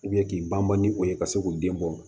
k'i ban ban ni o ye ka se k'u den bɔ